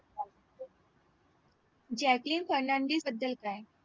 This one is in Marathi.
जॅकलीन फर्नांडिस बद्दल काय